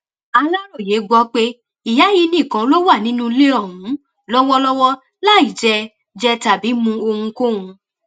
aláròye gbọ pé ìyá yìí nìkan ló wà nínú ilé ọhún lọwọlọwọ láì jẹ jẹ tàbí mú ohunkóhun